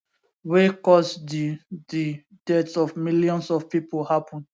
wey cause di di deaths of millions of pipo happen